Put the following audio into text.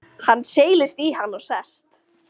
Hann seilist í hann og sest.